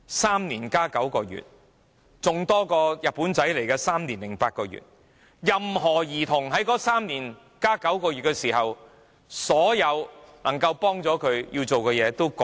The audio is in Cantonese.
3年加9個月，比日本侵華的3年零8個月還要長，任何兒童在那3年加9個月期間，所有能夠幫助他們要做的事情都已過時。